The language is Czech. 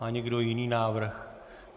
Má někdo jiný návrh?